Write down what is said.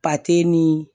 ni